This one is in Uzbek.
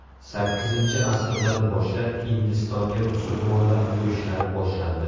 Sakkizinchi asrdan boshlab Hindistonga musulmonlar yurishlari boshlandi.